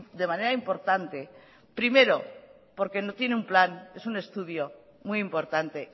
de manera importante primero porque no tiene un plan es un estudio muy importante